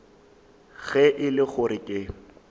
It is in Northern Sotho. ge e le gore ke